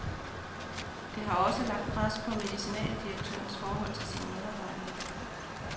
Det har også lagt pres på medicinaldirektørens forhold til sine medarbejdere.